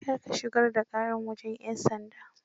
Kar ka shugar da ƙara wajan 'yan sanda.